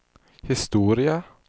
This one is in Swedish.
historia